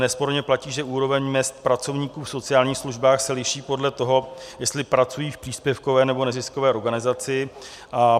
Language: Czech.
Nesporně platí, že úroveň mezd pracovníků v sociálních službách se liší podle toho, jestli pracují v příspěvkové, nebo neziskové organizaci.